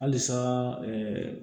Halisa